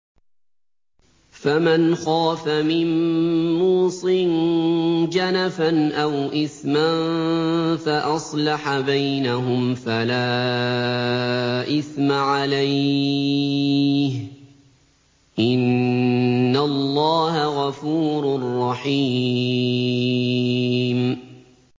فَمَنْ خَافَ مِن مُّوصٍ جَنَفًا أَوْ إِثْمًا فَأَصْلَحَ بَيْنَهُمْ فَلَا إِثْمَ عَلَيْهِ ۚ إِنَّ اللَّهَ غَفُورٌ رَّحِيمٌ